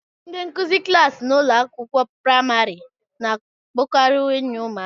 Ndị nkuzi klaasị n'ụlọ akwụkwọ praịmarị na-abụkarị enyi ụmụaka.